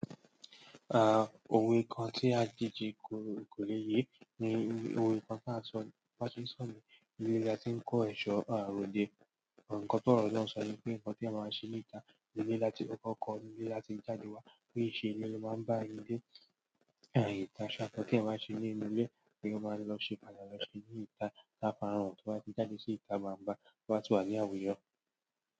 Ah òwe kan tí a kìí ji kò lè yé ni òwe kan tí a sọ ní ilé láti kó èṣo ròdé. Ǹkan ti ọrọ náà sọ wípé ǹkan tí ènìyàn báa ń ṣe ní ìta ilé láti kọkọ́, ilé láti jáde wá, pe íṣe ilé ló máa ń bá ilé, àì ìtàn ṣe àǹkọ́ tí ẹ máa ń ṣe nínú ilé tí ẹ máa lọ ṣe pàṣẹ lọ ṣe ní ìta, táfarànsí tí wọ́n ti jádé sí ìta gbangba tó bá ti wà ní àwùjọ.